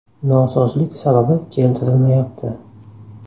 Nosozlik sababi keltirilmayapti.